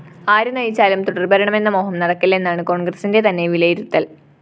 ആരു നയിച്ചാലും തുടര്‍ഭരണമെന്ന മോഹം നടക്കില്ലെന്നാണ് കോണ്‍ഗ്രസിന്റെ തന്നെ വിലയിരുത്തല്‍